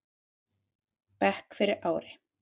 bekk fyrir ári.